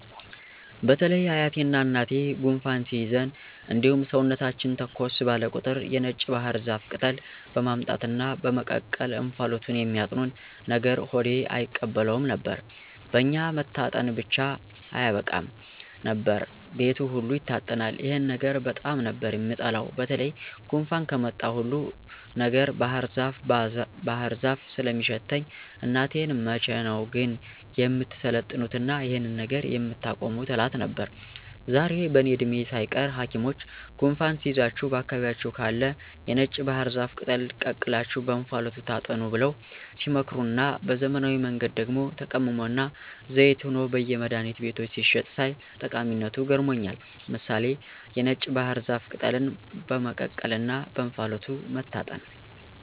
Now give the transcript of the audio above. በተለይ አያቴና እናቴ ጉንፋን ሲይዘን እንዲሁም ሰውነታችን ተኮስ ባለ ቁጥር የነጭ ባህር ዛፍ ቅጠል በማምጣት እና በመቀቀል እንፋሎቱን የሚያጥኑን ነገር ሆዴ አይቀበለውም ነበር። በኛ መታጠን ብቻ አያበቃም ነበር፤ ቤቱ ሁሉ ይታጠናል። ይሄን ነገር በጣም ነበር የምጠላው በተለይ ጉንፋን ከመጣ ሁሉ ነገር ባህርዛፍ ባህር ዛፍ ስለሚሸተኝ እናቴን መቼ ነው ግን የምትሰለጥኑትና ይሄንን ነገር የምታቆሙት እላት ነበር። ዛሬ በእኔ እድሜ ሳይቀር ሀኪሞች ጉንፋን ሲይዛችሁ በአካባቢያችሁ ካለ የነጭ ባህር ዛፍ ቅጠል ቀቅላችሁ በእንፋሎቱ ታጠኑ ብለው ሲመክሩና በዘመናዊ መንገድ ደግሞ ተቀምሞና ዘይት ሆኖ በየመድሀኒት ቤቶች ሲሸጥ ሳይ ጠቀሚነቱ ገርሞኛል። ምሳሌ(የነጭ ባህር ዛፍ ቅጠልን በመቀቀልና በእንፋሎቱ መታጠን)